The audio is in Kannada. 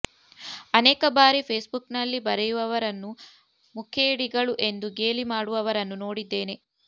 ಅನೇಕ ಬಾರಿ ಫೇಸ್ಬುಕ್ನಲ್ಲಿ ಬರೆಯುವವರನ್ನು ಮುಖೇಡಿಗಳು ಎಂದು ಗೇಲಿ ಮಾಡುವವರನ್ನೂ ನೋಡಿದ್ದೇನೆ